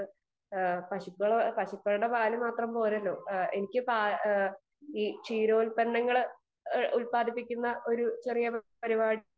speaker 2 നമുക്ക് പശുക്കൾ പശുക്കളുടെ പാല് മാത്രം പോരല്ലോ എനിക്ക് ഈ ക്ഷീരോല്പന്നങ്ങൾ ഉല്പാദിപ്പിക്കുന്ന ഒരു ചെറിയ പരിപാടി